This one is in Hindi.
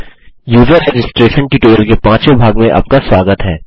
यूज़र रजिस्ट्रेशन ट्यूटोरियल के पाँचवे भाग में आपका स्वागत है